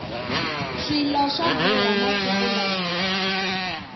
swilo swa durha masiku lawa